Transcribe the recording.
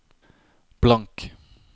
blank